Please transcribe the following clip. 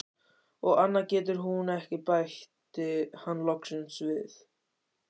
Og annað getur hún ekki, bætti hann loksins við.